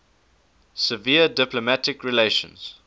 severed diplomatic relations